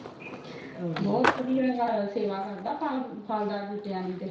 ਬਹੁਤ ਵਧੀਆ ਸੇਵਾ ਕਰਦਾ ਆ ਫੱਲ ਦਾਰ ਬੂਟਿਆਂ ਦੀ ਤੇ